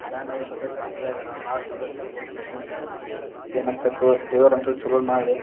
ಮನೆಯಲ್ಲವರು ಸದ್ಯ ಗಾಬರಿಯಾಗಾರ ಬಾ ಸೀರಿಯಸ್ ಇರಬಹುದು ಪೇಷಂಟ್ ಏನಾಗ್ಬೇಕು ದೇವರಂತೂ ಚಲೋದ್ ಮಾಡ್ಲಿ.